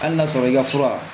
Hali n'a sɔrɔ i ka fura